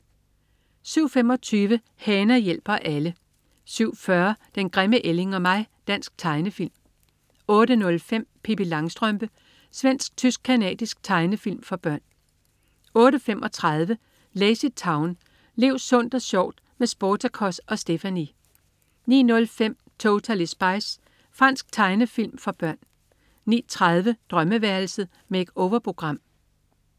07.25 Hana hjælper alle 07.40 Den grimme ælling og mig. Dansk tegnefilm 08.05 Pippi Langstrømpe. Svensk-tysk-canadisk tegnefilm for børn 08.35 LazyTown. Lev sundt og sjovt med Sportacus og Stephanie! 09.05 Totally Spies. Fransk tegnefilm for børn 09.30 Drømmeværelset. Make-over-program